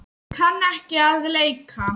Ég kann ekki að leika.